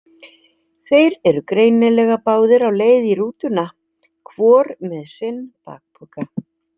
Þeir eru greinilega báðir á leið í rútuna, hvor með sinn bakpoka.